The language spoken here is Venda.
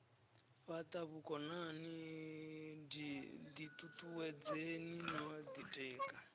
fhata vhukonani ditutuwedzeni no ditika